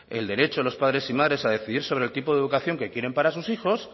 el derecho de los padres y madres a decidir sobre el tipo de educación que quieren para sus hijos